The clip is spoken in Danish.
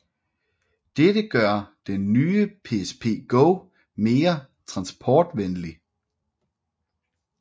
Dette gør den nye PSP Go mere transportvenlig